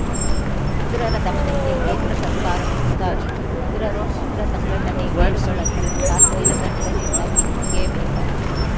ಉಗ್ರರ ದಮನಕ್ಕೆ ಕೇಂದ್ರ ಸರ್ಕಾರವು ಮುಂದಾಗಿದ್ದು ಉಗ್ರರು ಉಗ್ರ ಸಂಘಟನೆ ಬೇರುಗಳನ್ನು ಕಾಶ್ಮೀರದ ನೆಲದಿಂದ ಕಿತ್ತೊಗೆಯಬೇಕಾಗಿದೆ